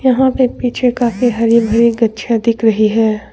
यहां पे पीछे काफी हरी भरी गच्छियां दिख रही है।